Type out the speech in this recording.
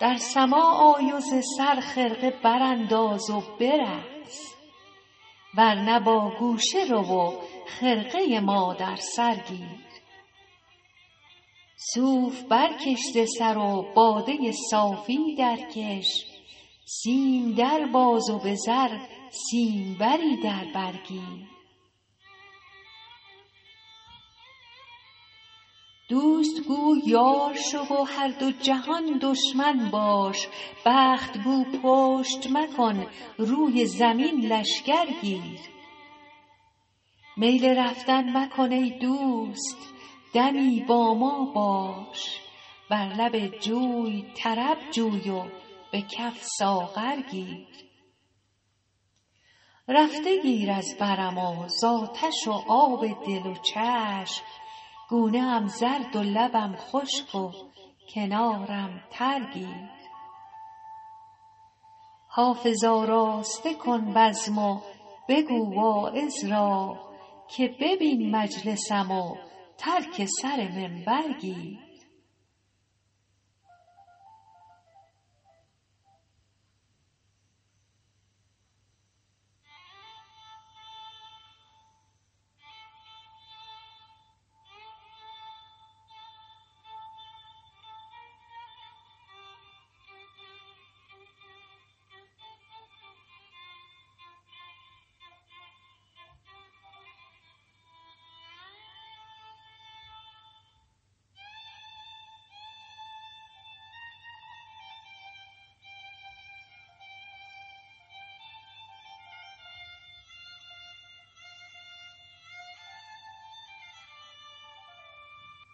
در سماع آی و ز سر خرقه برانداز و برقص ور نه با گوشه رو و خرقه ما در سر گیر صوف برکش ز سر و باده صافی درکش سیم در باز و به زر سیمبری در بر گیر دوست گو یار شو و هر دو جهان دشمن باش بخت گو پشت مکن روی زمین لشکر گیر میل رفتن مکن ای دوست دمی با ما باش بر لب جوی طرب جوی و به کف ساغر گیر رفته گیر از برم و زآتش و آب دل و چشم گونه ام زرد و لبم خشک و کنارم تر گیر حافظ آراسته کن بزم و بگو واعظ را که ببین مجلسم و ترک سر منبر گیر